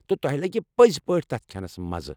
تہٕ تۄہہِ لگہِ پٔز پٲٹھۍ تتہِ کھٮ۪نَس مزٕ۔